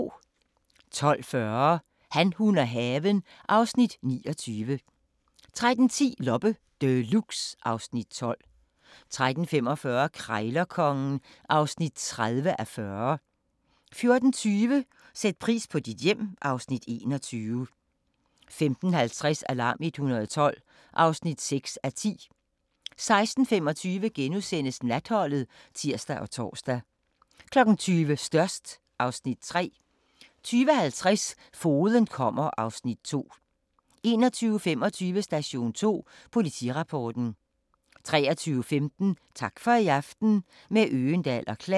12:40: Han, hun og haven (Afs. 29) 13:10: Loppe Deluxe (Afs. 12) 13:45: Krejlerkongen (30:40) 14:20: Sæt pris på dit hjem (Afs. 21) 15:50: Alarm 112 (6:10) 16:25: Natholdet *(tir og tor) 20:00: Størst (Afs. 3) 20:50: Fogeden kommer (Afs. 2) 21:25: Station 2: Politirapporten 23:15: Tak for i aften – med Øgendahl & Klan